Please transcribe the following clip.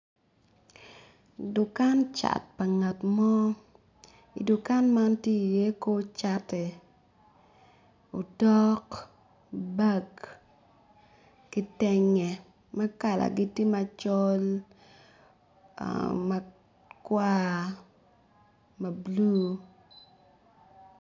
Dukan cat pa ngat mo i dukan man tye iye kor cati, otok, bag, kitenge ma kalagi tye macol, makwar, mablu